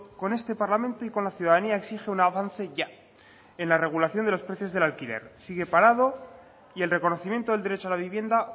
con este parlamento y con la ciudadanía exige un avance ya en la regulación de los precios del alquiler sigue parado y el reconocimiento del derecho a la vivienda